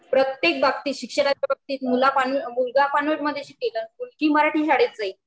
प्रत्येक बाबतीत, शिक्षणाच्या बाबतीत मुलगा कान्वेंट मध्ये शिकलेला मुलगी मराठी शाळेत जाइल